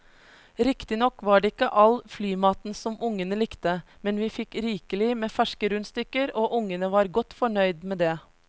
Riktignok var det ikke all flymaten som ungene likte, men vi fikk rikelig med ferske rundstykker og ungene var godt fornøyd med det.